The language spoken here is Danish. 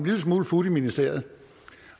lille smule fut i ministeriet